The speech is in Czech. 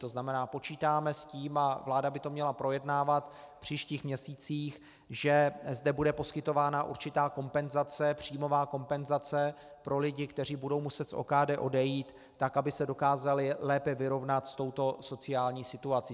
To znamená, počítáme s tím, a vláda by to měla projednávat v příštích měsících, že zde bude poskytována určitá kompenzace, příjmová kompenzace, pro lidi, kteří budou muset z OKD odejít, tak aby se dokázali lépe vyrovnat s touto sociální situací.